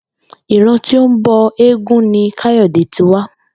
Ìran tí ó ń bo̩ eégún ni Káyò̩dé ti wá